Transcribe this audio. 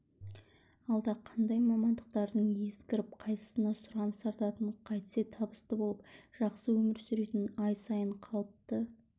алда қандай мамандықтардың ескіріп қайсысына сұраныс артатынын қайтсе табысты болып жақсы өмір сүретінін ай сайын қалыпты